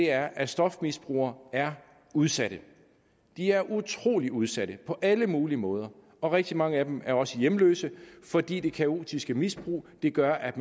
er at stofmisbrugere er udsatte de er utrolig udsatte på alle mulige måder og rigtig mange af dem er også hjemløse fordi det kaotiske misbrug gør at